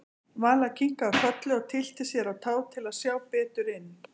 Vala kinkaði kolli og tyllti sér á tá til að sjá betur inn.